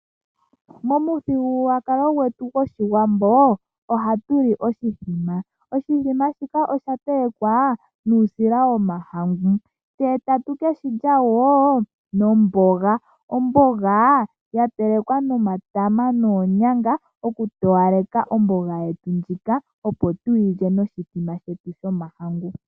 Momuthigululwakalo gwetu gwOshiwambo ohatu li oshithima oshithima shika ohashi telekwa nuusila womahangu tse tatu keshilya wo nomboga omboga ya telekwa nomatama noonyanga okutowaleka omboga yetu ndjika opo tuyi lye noshithima shetu shomahangu.